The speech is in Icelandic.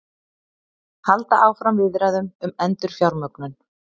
Halda áfram viðræðum um endurfjármögnun